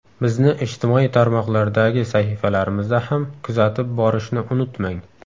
Bizni ijtimoiy tarmoqlardagi sahifalarimizda ham kuzatib borishni unutmang.